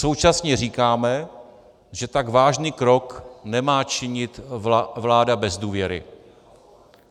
Současně říkáme, že tak vážný krok nemá činit vláda bez důvěry.